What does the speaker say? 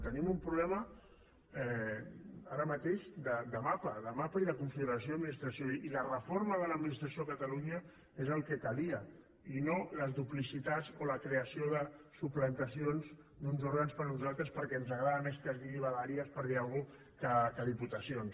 tenim un problema ara mateix de mapa de mapa i de configuració i administració i la reforma de l’administració a catalunya és el que calia i no les duplicitats o la creació de suplantacions d’uns òrgans per uns altres perquè ens agrada més que es digui vegueries per dir alguna cosa que diputacions